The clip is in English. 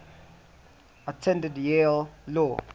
attended yale law